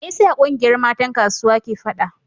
Me yasa kungiyar matan kasuwa ke fada?